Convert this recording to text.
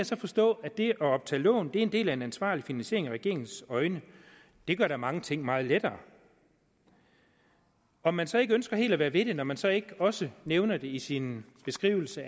så forstå at det at optage lån er en del af en ansvarlig finansiering i regeringens øjne det gør da mange ting meget lettere om man så ikke ønsker helt at være ved det når man så ikke også nævner det i sin beskrivelse